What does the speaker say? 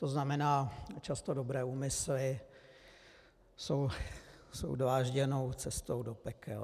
To znamená, často dobré úmysly jsou dlážděnou cestou do pekel.